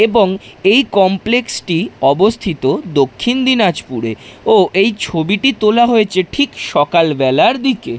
এবং এই কমপ্লেক্স টি অবস্থিত দক্ষিণ দিনাজপুরে ও ছবিটি তোলা হয়েছে ঠিক সকাল বেলার দিকে।